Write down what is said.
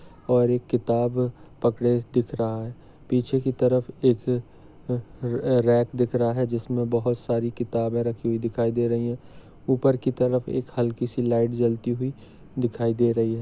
और एक किताब पकड़े दिख रहा है पीछे की तरफ एक अ-ह- रॅक दिख रहा है जिसमे बहुत सारी किताबें रखी हुई दिखाई दे रही है ऊपर की तरफ एक हल्की सी लाइट जलती हुई दिखाई दे रही है।